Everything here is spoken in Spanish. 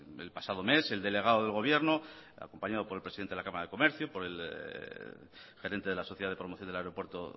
el pasado mes el delegado del gobierno acompañado por el presidente de la cámara de comercio por el gerente de la sociedad de promoción del aeropuerto